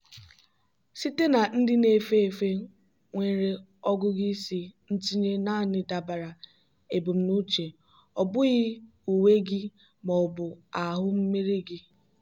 site na ndị na-efe efe nwere ọgụgụ isi ntinye naanị dabara ebumnuche - ọ bụghị uwe gị ma ọ bụ ahụ mmiri gị.